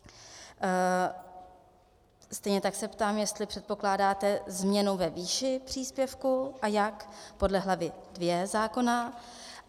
Stejně tak se ptám, jestli předpokládáte změnu ve výši příspěvku a jak - podle hlavy II zákona.